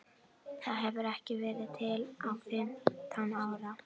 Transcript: Það hefur ekki verið til í fimmtán ár!